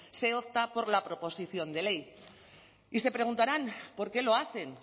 se opta por la proposición de ley y se preguntarán por qué lo hacen